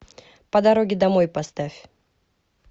по дороге домой поставь